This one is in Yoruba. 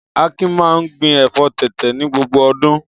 Akin máa ń gbin ẹ̀fọ́ tẹ̀tẹ̀ ní gbogbo ọdún.